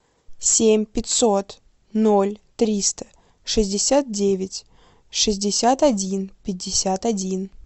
семь пятьсот ноль триста шестьдесят девять шестьдесят один пятьдесят один